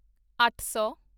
ਅੱਠ ਸੌ